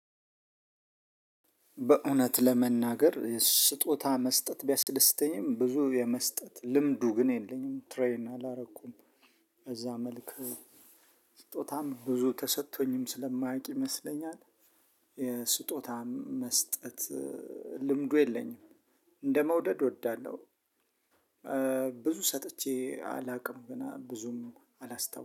በእውነት ለመናገር ስጦታ መስጠት ቢያስደስተኝም፤ ብዙ የመስጠት ልምዱ ግን የለኝም፤ ትሬይን አላረኩም፤ ከዛ መልኩ ስጦታም ብዙ ተሰጥቶኝም ስለማያውቅ ይመስለኛል፤ የስጦታም መስጠት ልምዱ የለኝም፤ እንደመውደድ እወዳለሁ፤ ብዙ ሰጥቼ አላውቅም፤ ብዙም አላስታውስም፤